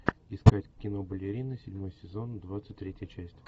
искать кино балерины седьмой сезон двадцать третья часть